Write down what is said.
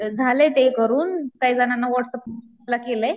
झालेय ते करून काही जणांना व्हाट्सअपला केलय.